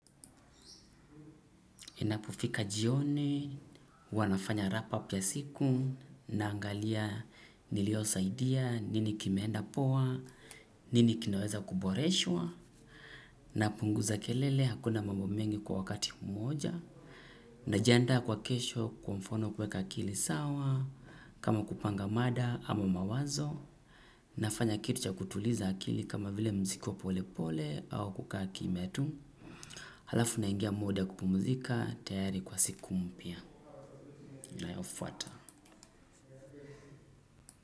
Inapofika jioni, hiwa nafanya wrap up ya siku, naangalia niliosaidia, nini kimeenda poa, nini kinaweza kuboreshwa, napunguza kelele hakuna mambo mengi kwa wakati mmoja, najiandaa kwa kesho kwa mfano kuweka akili sawa, kama kupanga mada ama mawazo, nafanya kitu cha kutuliza akili kama vile mziki wa pole pole au kukaa kimya tu. Halafu naingia muda wa kupumzika tayari kwa siku mpya inayofuata.